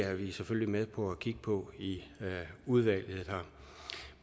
er vi selvfølgelig med på at kigge på i udvalget